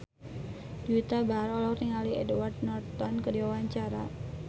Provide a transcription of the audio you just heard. Juwita Bahar olohok ningali Edward Norton keur diwawancara